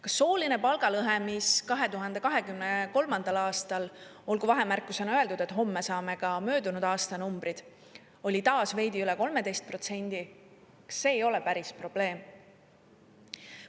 Kas sooline palgalõhe, mis 2023. aastal – olgu vahemärkusena öeldud, et homme saame ka möödunud aasta numbrid – oli taas veidi üle 13%, ei ole päris probleem?